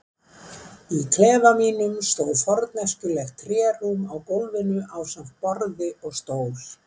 klefa mínum stóð forneskjulegt trérúm á gólfinu ásamt borði og stól.